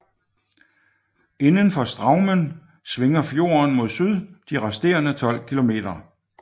Indenfor Straumen svinger fjorden mod syd de resterende tolv kilometer